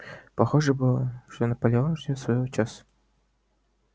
похоже было что наполеон ждёт своего часа